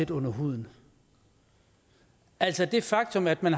under huden altså det faktum at man